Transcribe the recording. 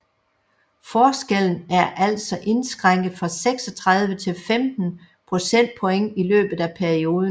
Forskellen er altså indskrænket fra 36 til 15 procentpoint i løbet af perioden